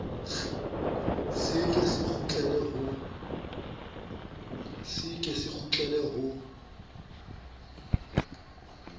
se ke se kgutlele ho